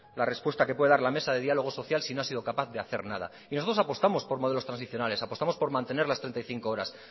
la respuesta que puede dar la mesa de diálogo social si no ha sido capaz de hacer nada y nosotros apostamos por modelos tradicionales apostamos por mantener las treinta y cinco horas